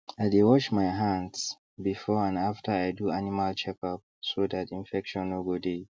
i dey wash my hands before and after i do animal checkup so that infection no go dey